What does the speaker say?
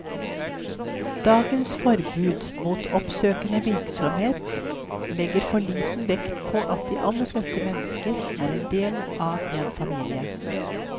Dagens forbud mot oppsøkende virksomhet legger for liten vekt på at de aller fleste mennesker er en del av en familie.